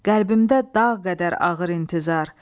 Qəlbimdə dağ qədər ağır intizar.